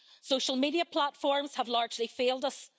Social media platforms have largely failed us.